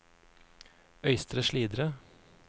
Øystre Slidre